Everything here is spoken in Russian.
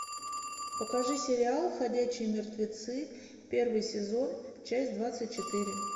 покажи сериал ходячие мертвецы первый сезон часть двадцать четыре